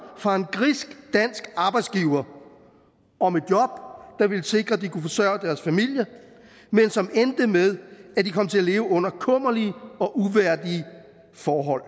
fra en grisk dansk arbejdsgiver om et job der ville sikre at de kunne forsørge deres familier men som endte med at de kom til at leve under kummerlige og uværdige forhold